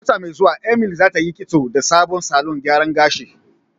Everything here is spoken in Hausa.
A wata mai zuwa, Emily zatayi kitso da sabon salon gyaran gashi.